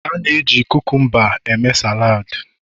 A na-eji kukumba eme salad